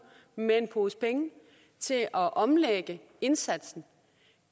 med en pose penge til at omlægge indsatsen